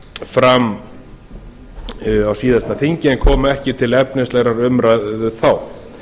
fram á síðasta þingi en komu ekki til efnislegrar umræðu þá